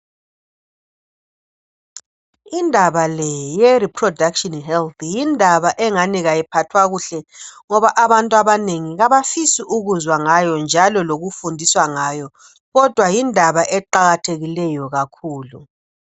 indaba le ye reproduction health yindaba engani ayiphathwa kuhle ngoba abantu abanengi abafisi ukuzwa ngayo njalo lukufundiswa ngayo kodwa yindaba eqakathekileyo kakhulu